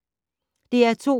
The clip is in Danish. DR2